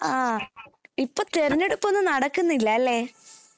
ഹാ ഇപ്പൊ തെരെഞ്ഞെടുപ്പൊന്നും നടക്കുന്നില്ല അല്ലെ